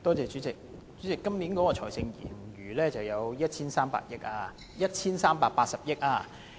主席，今年的財政盈餘有 1,380 億元。